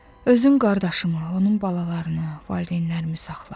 Özün qardaşımı, onun balalarını, valideynlərimi saxla.